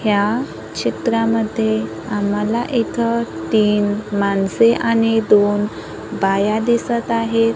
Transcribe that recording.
ह्या चित्रामध्ये आम्हाला इथं तीन माणसे आणि दोन बाया दिसत आहेत.